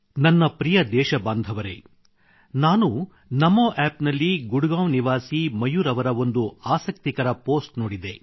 ನನ್ನ ಪ್ರಿಯ ದೇಶಬಾಂಧವರೆ ನಾನು ನಮೋ ಆಪ್ ನಲ್ಲಿ ಗುಡಗಾಂವ್ ನಿವಾಸಿ ಮಯೂರ್ ಅವರ ಒಂದು ಆಸಕ್ತಿಕರ ಪೋಸ್ಟ್ ನೋಡಿದೆ